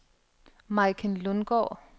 Maiken Lundgaard